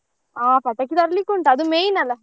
ಹಾ ಪಟಾಕಿ ತರ್ಲಿಕ್ಕೆ ಉಂಟು ಅದು main ಅಲ್ಲ.